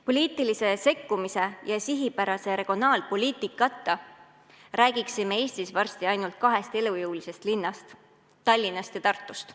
Poliitilise sekkumise ja sihipärase regionaalpoliitikata räägiksime Eestis varsti ainult kahest elujõulisest linnast: Tallinnast ja Tartust.